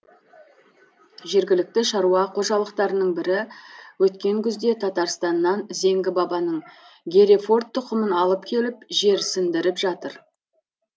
жергілікті шаруа қожалықтарының бірі өткен күзде татарстаннан зеңгі бабаның герефорд тұқымын алып келіп жерсіндіріп жатыр